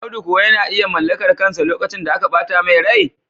Audu kuwa yana iya mallakar kansa lokacin da aka bata mai rai?